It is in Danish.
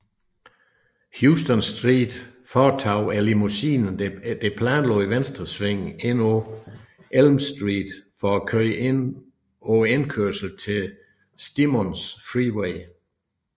Houston Street foretog limousinen det planlagte venstresving ind på Elm Street for at køre ind på indkørslen til Stemmons Freeway